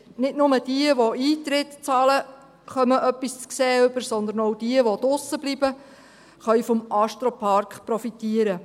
Nicht nur jene, welche Eintritt bezahlen, bekommen etwas zu sehen, sondern auch jene, welche draussen bleiben, können vom Astropark profitieren.